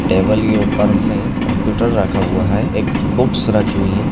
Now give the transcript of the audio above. Table के ऊपर में कंप्यूटर रखा हुआ है एक बुक्स रखी हुई है।